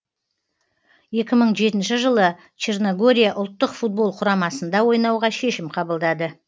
екі мың жетінші жылы черногория ұлттық футбол құрамасында ойнауға шешім қабылдады